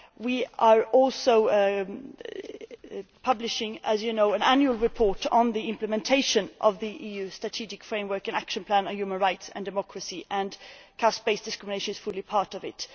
We are also publishing, as you know, an annual report on the implementation of the EU Strategic Framework and Action Plan on Human Rights and Democracy, and caste based discrimination is fully part of it.